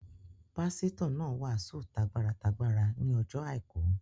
Pásítọ̀ náà wàásù t'agbára t'agbára ní ọjọ́ àìkú